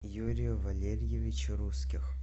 юрию валерьевичу русских